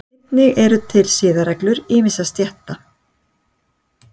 einnig eru til siðareglur ýmissa stétta